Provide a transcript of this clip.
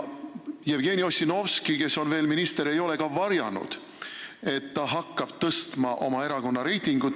Jevgeni Ossinovski, kes on veel minister, ei ole ka varjanud, et ta hakkab tõstma oma erakonna reitingut.